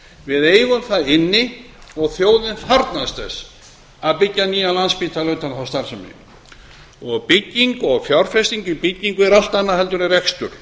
við eigum það inni og þjóðin þarfnast þess að byggja nýjan landspítala utan um þá starfsemi fjárfesting í byggingu er allt annað en rekstur